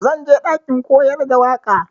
Zan je ɗakin koyar da waƙa.